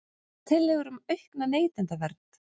Tillögur um aukna neytendavernd